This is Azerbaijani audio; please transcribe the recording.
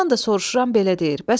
Ondan da soruşuram belə deyir.